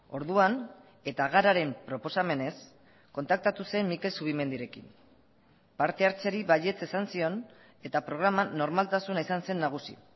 orduan eta gararen proposamenez kontaktatu zen mikel zubimendirekin parte hartzeari baietz esan zion eta programan normaltasuna izan zen nagusi